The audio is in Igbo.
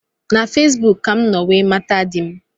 Na Fesbụụk ka mụ nọ wee mata di m